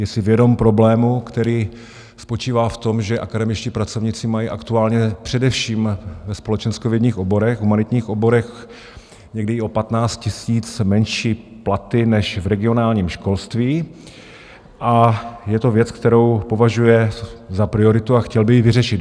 Je si vědom problému, který spočívá v tom, že akademičtí pracovníci mají aktuálně především ve společenskovědních oborech, humanitních oborech, někdy i o 15 000 menší platy než v regionálním školství, a je to věc, kterou považuje za prioritu a chtěl by ji vyřešit.